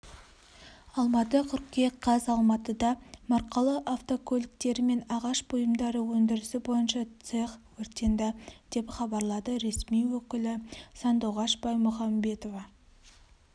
алматы қыркүйек қаз алматыда маркалы автокөліктері мен ағаш бұйымдары өндірісі бойынша цех өртенді деп хабарлады ресми өкілі сандуғаш баймұхамбетова